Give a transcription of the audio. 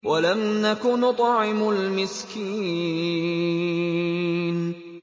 وَلَمْ نَكُ نُطْعِمُ الْمِسْكِينَ